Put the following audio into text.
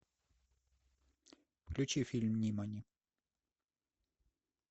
включи фильм нимани